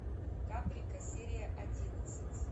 каприка серия одиннадцать